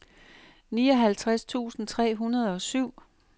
nioghalvtreds tusind tre hundrede og syv